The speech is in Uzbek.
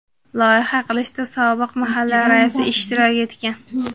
Loyiha qilishda sobiq mahalla raisi ishtirok etgan.